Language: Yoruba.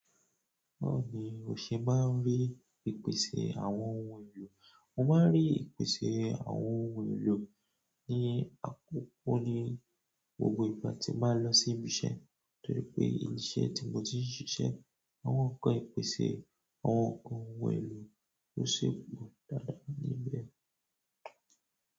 Báwo ni o se maa n ri ìpèsè àwọn ohun elo. Mo máa ń rí ìpèsè àwọn ohun èlò ní àkókò ní gbogbo ìgbà tí máa ń lọ sí ibi iṣẹ́ torí pé ilé iṣẹ́ tí mo ti ń ṣiṣẹ́, àwọn kan ìpèsè àwọn ohun èlò tó ṣeé gbọ̀n dáadáa níbẹ̀.